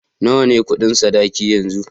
Nawa ne Ƙudin sadaki yanzu?